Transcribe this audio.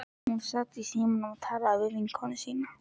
Hún sat í símanum og talaði við vinkonu sína.